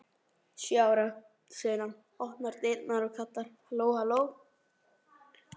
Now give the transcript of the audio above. Sjö ára, segir hann, opnar dyrnar og kallar: halló halló